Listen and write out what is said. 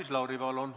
Maris Lauri, palun!